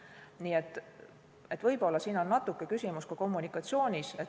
Nii et võib-olla on siin küsimus natukene ka kommunikatsioonis.